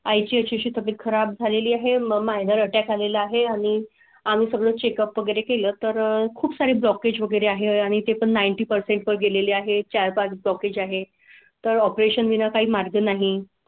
आई ची तब्येत खराब झालेली आहे. मायनर अटक आले ला आहे आणि आम्ही सगळं चेकअप वगैरे केलं तर खूप सारी ब्लॉकेज वगैरे आहे आणि ते पण नाइनटी परसेंट वर गेलेली आहे चार पांच टॉकीज आहे तर ऑपरेशन वी ना काही मार्ग नाही.